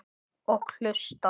Og hlusta.